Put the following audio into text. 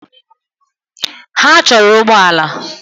Ha chọrọ ụgbọ ala